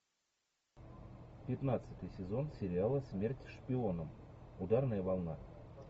пятнадцатый сезон сериала смерть шпионам ударная волна